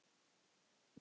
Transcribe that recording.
Hann öskraði upp.